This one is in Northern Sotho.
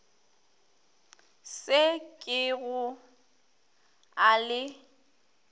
se ke go a le